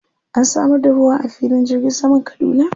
An samar da ruwa a filin jirgin saman Kaduna?